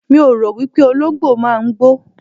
Mi ò rò wípé Olóǹgbò máa ń gbó.